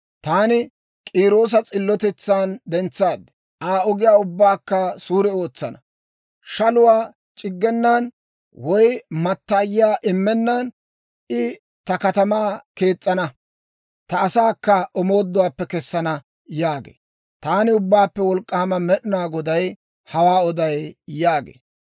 Taani K'iiroosa s'illotetsan dentsaad; Aa ogiyaa ubbaakka suure ootsana. Shaluwaa c'iggenan, woy mattaayiyaa immennan, I ta katamaa kees's'ana; ta asaakka omooduwaappe kessana› yaagee. Taani Ubbaappe Wolk'k'aama Med'inaa Goday hawaa oday» yaagee.